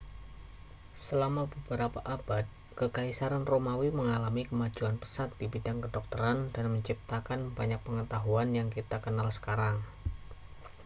selama beberapa abad kekaisaran romawi mengalami kemajuan pesat di bidang kedokteran dan menciptakan banyak pengetahuan yang kita kenal sekarang